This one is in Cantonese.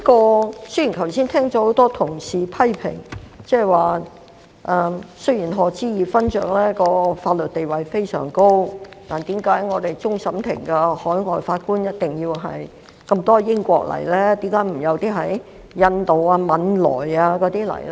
我剛才已聽到多位同事批評指，雖然賀知義勳爵的法律地位非常高，但為何我們終審法院多位海外法官均來自英國，卻沒有來自印度或汶萊呢？